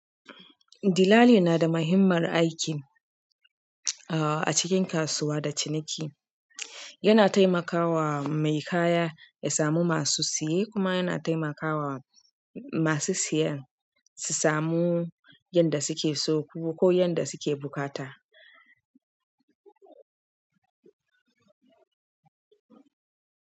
Dillali na da muhimmar aiki a cikin kasuwa da ciniki. Yana taimaka wa mai kaya ya samu masu siye kuma yana taimaka wa masu siye su samu yanda suke so ko yanda suke buƙata.